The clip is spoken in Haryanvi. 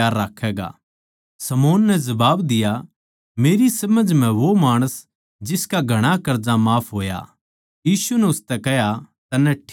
शमौन नै जबाब दिया मेरी समझ म्ह वो माणस जिसका घणा कर्जा माफ होया यीशु नै उसतै कह्या तन्नै ठीक कह्या सै